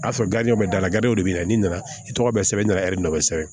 A sɔrɔ bɛ dala b'i bɛna n'i nana i tɔgɔ bɛ sɛbɛn ɲaman ɛri nɔfɛ